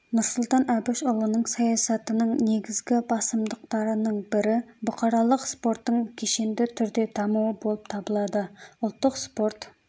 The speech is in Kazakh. нұрсұлтан әбішұлының саясатының негізгі басымдықтарының бірі бұқаралық спорттың кешенді түрде дамуы болып табылады ұлттық спорт